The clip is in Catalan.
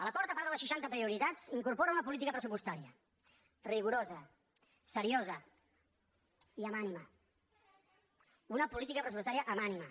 l’acord a part de les seixanta prioritats incorpora una política pressupostària rigorosa seriosa i amb ànima una política pressupostària amb ànima